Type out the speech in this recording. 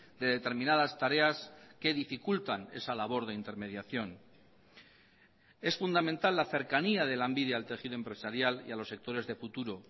de determinadas tareas que dificultan esa labor de intermediación es fundamental la cercanía de lanbide al tejido empresarial y a los sectores de futuro